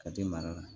Ka te mara